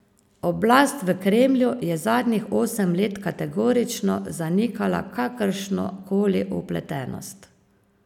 Oblast v Kremlju je zadnjih osem let kategorično zanikala kakršno koli vpletenost.